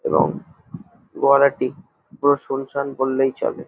এবং গোয়ালাটি পুরো সুনসান বললেই চলে।